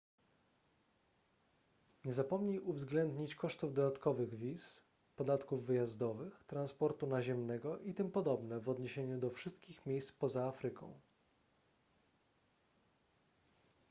nie zapomnij uwzględnić kosztów dodatkowych wiz podatków wyjazdowych transportu naziemnego itp w odniesieniu do wszystkich miejsc poza afryką